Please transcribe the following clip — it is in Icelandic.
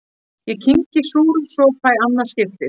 Ég kyngi súrum sopa í annað skipti.